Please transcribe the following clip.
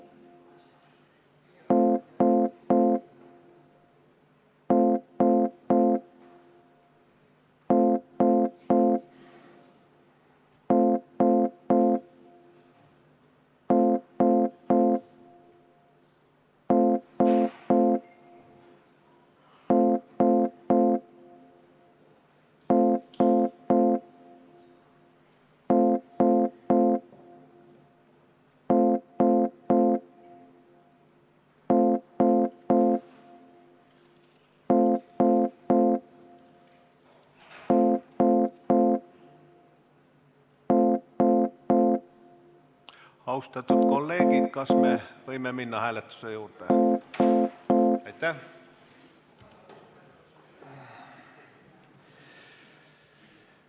Austatud kolleegid, kas me võime minna hääletuse juurde?